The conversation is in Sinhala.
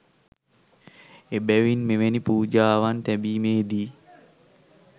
එබැවින් මෙවැනි පූජාවන් තැබීමේ දී